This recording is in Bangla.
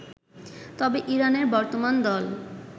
তবে ইরানের বর্তমান দল